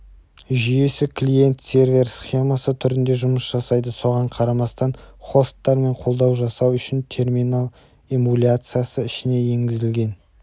жүйесі клиент-сервер схемасы түрінде жұмыс жасайды соған қарамастан хосттармен қолдау жасау үшін терминал эмуляциясы ішіне енгізілген